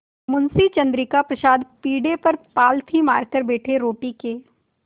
मुंशी चंद्रिका प्रसाद पीढ़े पर पालथी मारकर बैठे रोटी के